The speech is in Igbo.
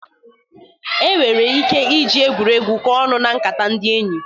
E nwere ike ị ji egwuregwu kọọ ọnụ na nkata ndị enyi.